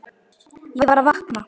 Ég var að vakna.